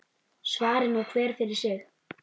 Svari nú hver fyrir sig.